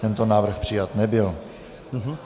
Tento návrh přijat nebyl.